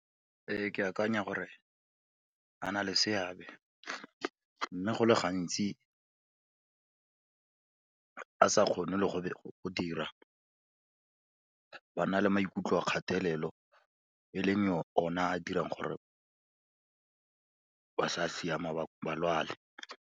Ke akanya gore a na le seabe, mme go le gantsi a sa kgone le go dira, ba na le maikutlo a kgatelelo, e leng ona a dirang gore ba sa siama, ba lwale.